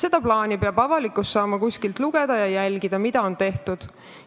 Avalikkus peab saama seda plaani kuskilt lugeda ja jälgida, mida on tehtud.